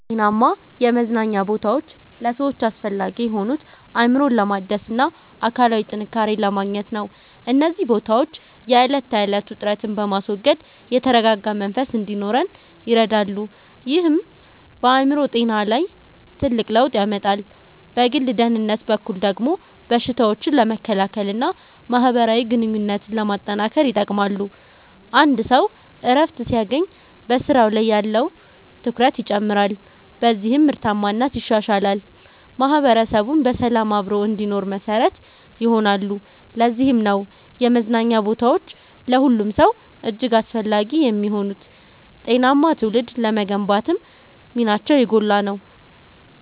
ጤናማ የመዝናኛ ቦታዎች ለሰዎች አስፈላጊ የሆኑት፣ አእምሮን ለማደስና አካላዊ ጥንካሬን ለማግኘት ነው። እነዚህ ቦታዎች የዕለት ተዕለት ውጥረትን በማስወገድ የተረጋጋ መንፈስ እንዲኖረን ይረዳሉ፤ ይህም በአእምሮ ጤና ላይ ትልቅ ለውጥ ያመጣል። በግል ደህንነት በኩል ደግሞ በሽታዎችን ለመከላከልና ማህበራዊ ግንኙነትን ለማጠናከር ይጠቅማሉ። አንድ ሰው እረፍት ሲያገኝ በስራው ላይ ያለው ትኩረት ይጨምራል፤ በዚህም ምርታማነት ይሻሻላል። ማህበረሰቡም በሰላም አብሮ እንዲኖር መሰረት ይሆናሉ። ለዚህም ነው የመዝናኛ ቦታዎች ለሁሉም ሰው እጅግ አስፈላጊ የሚሆኑት፤ ጤናማ ትውልድ ለመገንባትም ሚናቸው የጎላ ነው።